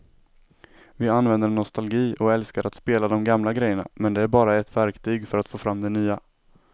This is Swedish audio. Vi använder nostalgi och älskar att spela de gamla grejerna men det är bara ett verktyg för att få fram det nya.